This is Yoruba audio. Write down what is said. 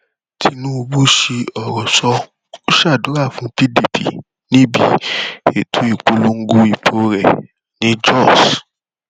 tinubu sí ọrọ sọ ọ sádúrà fún pdp níbi ètò ìpolongo ìbò rẹ ní jóṣ